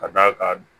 Ka d'a kan